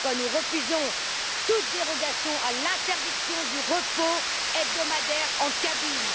C'est pourquoi nous refusons toute dérogation à l'interdiction du repos hebdomadaire en cabine.